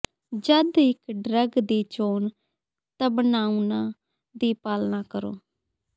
ਜਦ ਇੱਕ ਡਰੱਗ ਦੀ ਚੋਣ ਤਬਣਾਉਣਾ ਦੀ ਪਾਲਣਾ ਕਰੋ